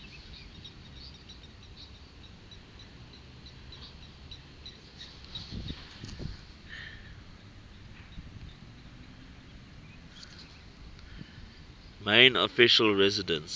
main official residence